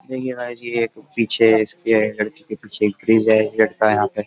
सही है गाइज ये पीछे इसके लड़की के पीछे लड़का है यहाँ पे ।